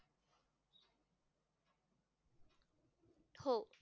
हो.